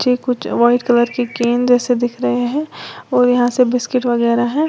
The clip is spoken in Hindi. जे कुछ व्हाइट कलर के केन जैसे दिख रहे हैं और यहां सब बिस्किट वगैरा हैं।